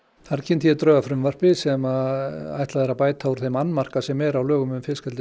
þar kynnti ég drög að frumvarpi sem er ætlað að bæta úr þeim annmarka sem er á lögum um fiskeldi